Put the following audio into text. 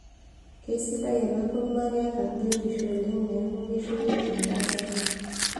Keisidai enakurma kketa biotisho oleng neeku keisho yiok endaa sapuk